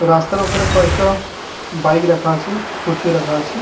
রাস্তার ওপরে কয়েকটা বাইক রাখা আছে স্কুটি ও রাখা আছে। .